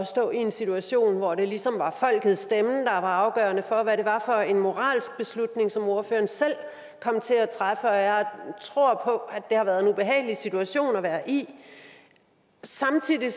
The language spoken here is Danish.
stå i en situation hvor det ligesom var folkets stemme afgørende for hvad det var for en moralsk beslutning som ordføreren selv kom til at træffe og jeg tror på at det har været en ubehagelig situation at være i samtidig